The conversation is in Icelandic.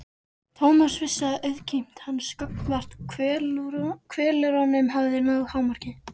Thomas vissi að auðmýkt hans gagnvart kvölurunum hafði náð hámarki.